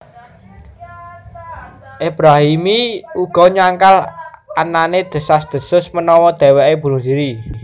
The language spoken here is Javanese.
Ebrahimi uga nyangkal anané desas desus menawa dheweké bunuh dhiri